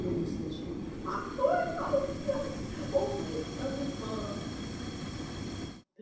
он услышал а кто это у тебя охает старуха